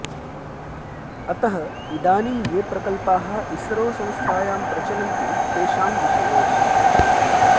अतः इदानीं ये प्रकल्पाः इसरो संस्थायां प्रचलन्ति तेषां विषये